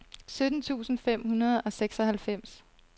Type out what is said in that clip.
sytten tusind fem hundrede og seksoghalvfems